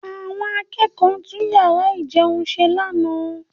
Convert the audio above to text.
Àwọn akẹ́kọ̀ọ́ tún yàrá ìjẹun ṣe lánàá